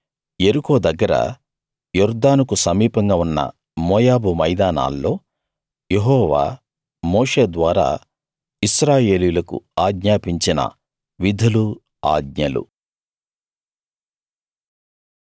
ఇవి యెరికో దగ్గర యొర్దానుకు సమీపంగా ఉన్న మోయాబు మైదానాల్లో యెహోవా మోషే ద్వారా ఇశ్రాయేలీయులకు ఆజ్ఞాపించిన విధులు ఆజ్ఞలు